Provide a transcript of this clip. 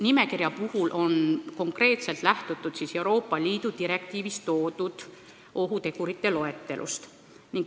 Nimekirja puhul on konkreetselt lähtutud Euroopa Liidu direktiivis toodud ohutegurite loetelust.